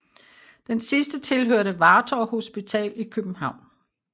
Den sidste tilhørte Vartov hospital i København